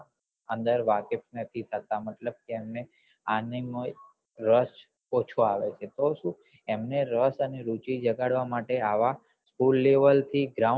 અંદર વાકેફ નથી થતા મતલબ કે અમને આમાં રસ ઓછો આવે છે એમને રસ અને રૂચી જગાડવા માટે આવા school level થી ground